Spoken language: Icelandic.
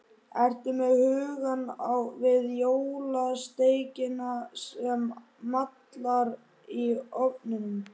Ertu með hugann við jólasteikina sem mallar í ofninum?